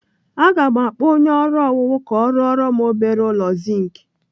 Aga m akpọ onye ọrụ owuwu ka ọ rụora m obere ụlọ zink.